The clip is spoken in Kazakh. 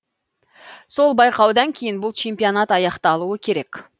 сол байқаудан кейін бұл чемпионат аяқталуы керек